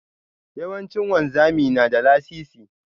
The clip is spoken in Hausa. Yawanci wanzami na da lasisi.